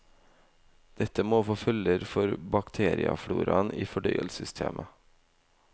Dette må få følger for bakteriefloraen i fordøyelsessystemet.